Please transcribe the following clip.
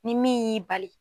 Ni min y'i bali.